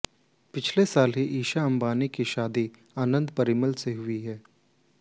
पिछले साल ही ईशा अंबानी की शादी आनंद पीरामल से हुई है